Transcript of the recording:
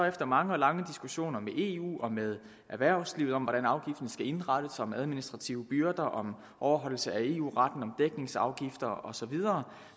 efter mange og lange diskussioner med eu og med erhvervslivet om hvordan afgiften skal indrettes om administrative byrder om overholdelse af eu retten om dækningsafgifter og så videre